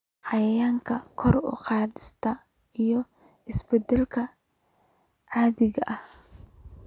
Wacyigelinta kor u qaadista iyo isbeddelka caadiga ah